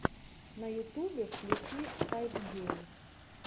на ютубе включи хайпгейм